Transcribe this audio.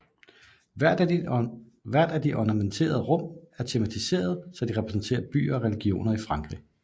Hvert af de ornamenterede rum er tematiserede så de repræsenterer byer og regioner i frankrig